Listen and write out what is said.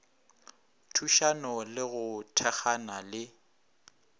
thušana le go thekgana le